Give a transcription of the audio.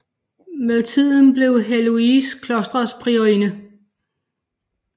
Med tiden blev Heloïse klostrets priorinde